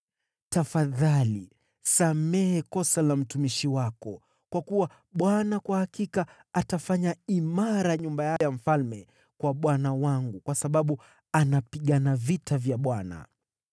Tafadhali samehe kosa la mtumishi wako, kwa kuwa Bwana kwa hakika ataifanya imara nyumba ya ufalme kwa bwana wangu, kwa sababu anapigana vita vya Bwana .